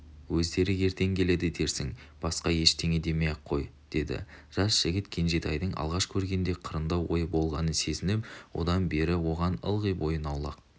өздері ертең келеді дерсің басқа еш нәрсе демей-ақ қой деді жас жігіт кенжетайдың алғаш көргенде қырындау ойы болғанын сезініп содан бері оған ылғи бойын аулақ